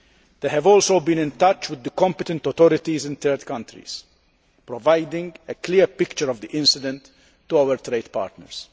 They have also been in touch with the competent authorities in third countries, providing a clear picture of the incident to our trade partners.